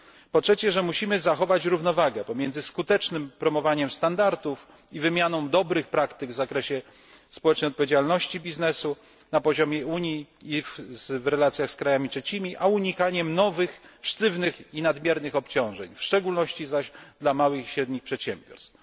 Po trzecie, musimy zachować równowagę pomiędzy skutecznym promowaniem standardów i wymianą dobrych praktyk w zakresie społecznej odpowiedzialności biznesu na poziomie Unii i w relacjach z krajami trzecimi a unikaniem nowych, sztywnych i nadmiernych obciążeń, w szczególności zaś dla małych i średnich przedsiębiorstw.